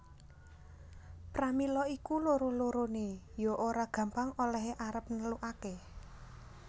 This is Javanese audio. Pramila iku loro loroné ya ora gampang olèhé arep nelukaké